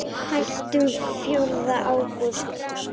Hættum fjórða ágúst.